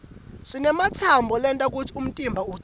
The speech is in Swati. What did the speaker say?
sinematsambo lenta kutsi umtimba ucine